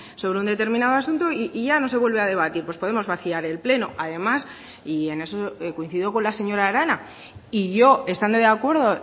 sobre un determinado asunto y ya no se vuelve a debatir pues podemos vaciar el pleno además y en eso coincido con la señora arana y yo estando de acuerdo